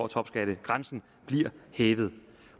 topskattegrænsen bliver hævet